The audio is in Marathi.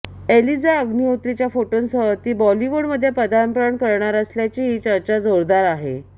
एलिजा अग्निहोत्रीच्या फोटोंसह ती बॉलिवूडमध्ये पदार्पण करणार असल्याचीही चर्चा जोरदार आहे